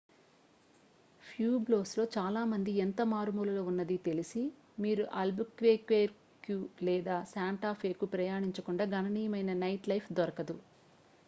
ప్యూబ్లోస్లో చాలా మంది ఎంత మారుమూలలో ఉన్నది తెలిసి మీరు అల్బుక్వెర్క్యు లేదా శాంటా ఫేకు ప్రయాణించకుండా గణనీయమైన నైట్లైఫ్ దొరకదు